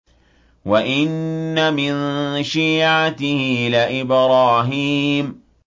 ۞ وَإِنَّ مِن شِيعَتِهِ لَإِبْرَاهِيمَ